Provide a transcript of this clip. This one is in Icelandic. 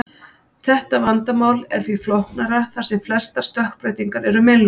Þetta vandamál er því flóknara þar sem flestar stökkbreytingar eru meinlausar.